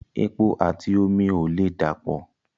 Epo àti omi ò lè dà pọ̀